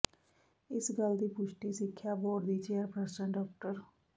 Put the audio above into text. ਇਸ ਗੱਲ ਦੀ ਪੁਸ਼ਟੀ ਸਿੱਖਿਆ ਬੋਰਡ ਦੀ ਚੇਅਰਪਰਸਨ ਡਾ